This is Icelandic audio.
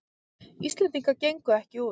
Íslendingar gengu ekki út